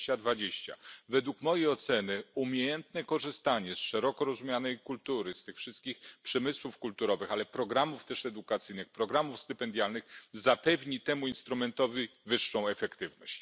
2020. Według mojej oceny umiejętne korzystanie z szeroko rozumianej kultury, z tych wszystkich przemysłów kulturowych, ale też programów edukacyjnych, programów stypendialnych zapewni temu instrumentowi wyższą efektywność.